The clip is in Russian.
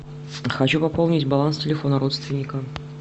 хочу пополнить баланс телефона родственника